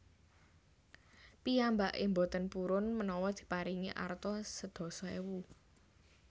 Piyambake mboten purun menawa diparingi arta sedasa ewu